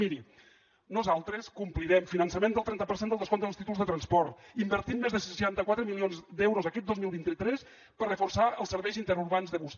miri nosaltres complirem finançament del trenta per cent del descompte dels títols de transport invertim més de seixanta quatre milions d’euros aquest dos mil vint tres per reforçar els serveis interurbans de bus